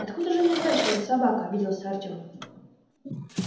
откуда же мне знать что это собака обиделся артём